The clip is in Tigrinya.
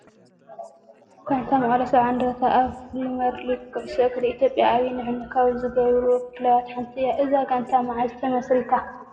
ጋንታ መቐለ ሰብዓ እንድርታ ኣብ ፕሪመር ሊግ ኩዕሾ እግሪ ኢትዮጵያ ዓብዪ ንሕንሕ ካብ ዝገብሩ ክለባት ሓንቲ እያ፡፡ እዛ ጋንታ መዓዝ ተመስሪታ?